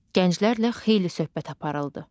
Gənclərlə xeyli söhbət aparıldı.